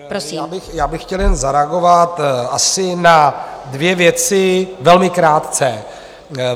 Já bych chtěl jen zareagovat asi na dvě věci, velmi krátce.